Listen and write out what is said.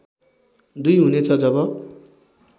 २ हुनेछ जब